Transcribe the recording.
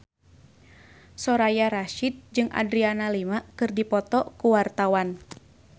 Soraya Rasyid jeung Adriana Lima keur dipoto ku wartawan